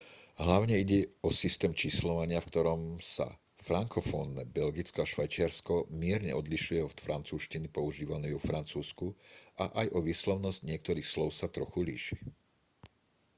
hlavne ide o systém číslovania v ktorom sa frankofónne belgicko a švajčiarsko mierne odlišuje od francúzštiny používanej vo francúzsku a aj o výslovnosť niektorých slov sa trochu líši